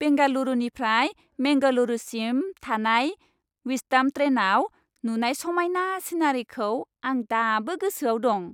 बेंगालुरुनिफ्राय मेंगलुरुसिम थानाय विस्टाड'म ट्रेनआव नुनाय समायना सिनारिखौ आं दाबो गोसोआव दं।